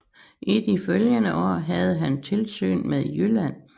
I de følgende år havde han tilsyn med Jylland